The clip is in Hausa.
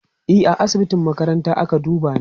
e A asibitin makaranta ake dubani